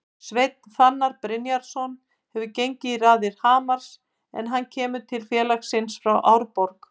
Sveinn Fannar Brynjarsson hefur gengið í raðir Hamars en hann kemur til félagsins frá Árborg.